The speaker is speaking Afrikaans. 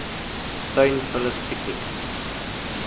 tuin vullis piekniek